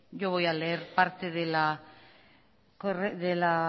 yo voy a leer parte de la